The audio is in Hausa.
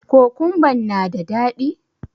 Kokumban na da daɗi?